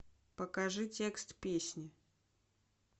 покажи текст песни